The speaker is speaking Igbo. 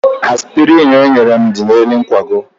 Aspịrịn enyere m dị n'elu nkwago.